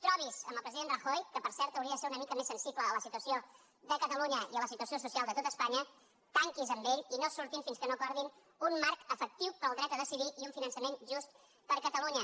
trobi’s amb el president rajoy que per cert hauria de ser una mica sensible a la situació de catalunya i a la situació social de tot espanya tanqui’s amb ell i no surtin fins que no acordin un marc efectiu per al dret a decidir i un finançament just per a catalunya